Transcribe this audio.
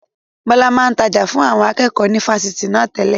Bọlá máa ń tája fún àwọn akẹ́kọ̀ọ́ ni Fásitì na tẹ́lẹ̀.